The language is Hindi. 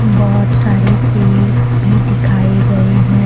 बहुत सारे पेड़ भी दिखाए गए हैं।